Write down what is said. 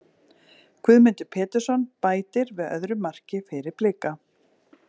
Guðmundur Pétursson bætir við öðru marki fyrir Blika.